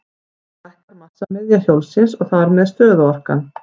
Þannig lækkar massamiðja hjólsins og þar með stöðuorkan.